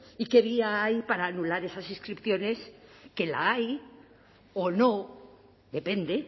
y qué vía hay para anular esas inscripciones que la hay o no depende